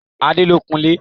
Adé lọ kun ilé.